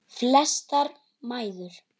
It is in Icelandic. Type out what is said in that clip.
Flestar mæður.